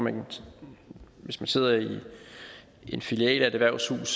man hvis man sidder i en filial af et erhvervshus